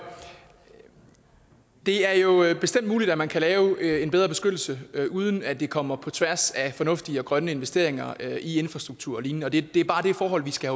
det er jo bestemt muligt at man kan lave en bedre beskyttelse uden at det kommer på tværs af fornuftige og grønne investeringer i infrastruktur og lignende og det er bare det forhold vi skal